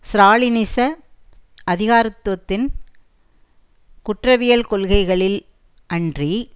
ஸ்ராலினிச அதிகராத்துவத்தின் குற்றவியல் கொள்கைகளில் அன்றி